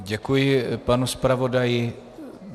Děkuji panu zpravodaji.